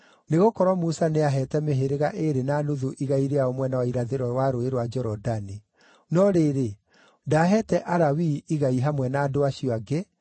nĩgũkorwo Musa nĩaheete mĩhĩrĩga ĩĩrĩ na nuthu igai rĩao mwena wa irathĩro wa Rũũĩ rwa Jorodani. No rĩrĩ, ndaaheete Alawii igai hamwe na andũ acio angĩ,